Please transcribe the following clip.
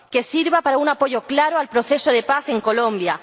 Que sirva para un apoyo claro al proceso de paz en Colombia.